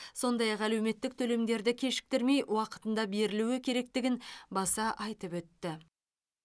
сондай ақ әлеуметтік төлемдерді кешіктірмей уақытында берілуі керектігін баса айтып өтті